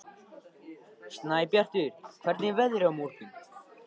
Snæbjartur, hvernig er veðrið á morgun?